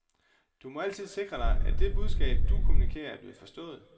Du må altid sikre dig, at det budskab, du kommunikerer, er blevet forstået.